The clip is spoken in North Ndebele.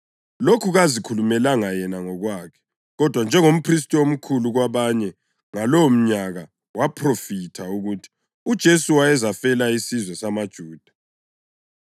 Lokhu kazikhulumelanga yena ngokwakhe, kodwa njengomphristi omkhulu kwabanye ngalowomnyaka waphrofitha ukuthi uJesu wayezafela isizwe samaJuda,